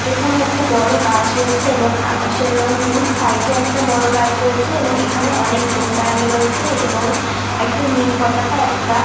এখানে একটা বড় গাছ রয়েছে এবং আকাশের রং নীল সাইড -এ একটা বড় গাছ রয়েছে এবং এখানে অনেক লোক দাঁড়িয়ে রয়েছে এবং একটা নীল পতাকা একটা।